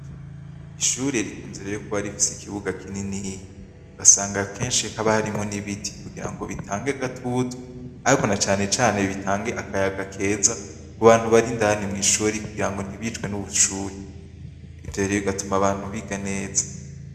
Ishuri rikunze rero kuba rifise ikibuga kinini usanga kenshi haba harimwo n'ibiti kugira ngo bitange agatutu ariko na canecane bitange akayaga keza ku bantu bari indani mw'ishuri kugira ngo ntibicwe n'ubushuhe, ivyo bigatuma abantu biga neza.